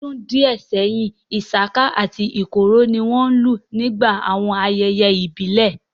L'ọ́dún díẹ̀ sẹ́yìn, isaka àti ikoro ni wọ́n lù nígbà àwọn ayẹyẹ ìbílẹ̀